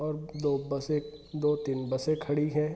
और दो बसें दो-तीन बसें खड़ी है |